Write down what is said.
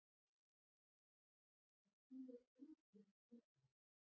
Hún sýnir engin svipbrigði.